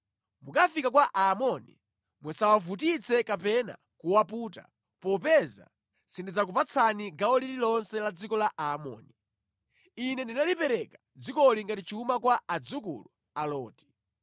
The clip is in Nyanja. Mukafika kwa Aamoni, musawavutitse kapena kuwaputa, popeza sindidzakupatsani gawo lililonse la dziko la Aamoni. Ine ndalipereka dzikoli ngati chuma kwa adzukulu a Loti.”